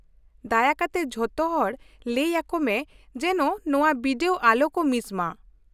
ᱫᱟᱭᱟ ᱠᱟᱛᱮ ᱡᱚᱛᱚᱦᱚᱲ ᱞᱟᱹᱭ ᱟᱠᱚ ᱢᱮ ᱡᱮᱱᱳ ᱱᱚᱶᱟ ᱵᱤᱰᱟᱹᱣ ᱟᱞᱚ ᱠᱚ ᱢᱤᱥ ᱢᱟ ᱾